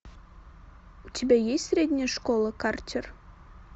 у тебя есть средняя школа картер